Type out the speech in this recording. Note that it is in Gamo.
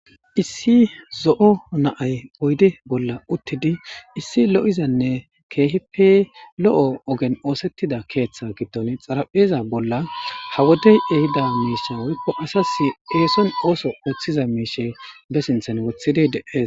issi zo7o naay oyde bolla uttidi issi lo7izanne keehippe lo7o ogen oosettida keeththa giddon xarapheeza bolla ha wodey ehida miisha wuikko asas eeson ooso ooththiza miishe be sinthan wothidey deees